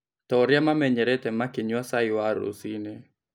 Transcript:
Ta ũrĩamamenyerete makĩnyua cai wa rũcinĩ.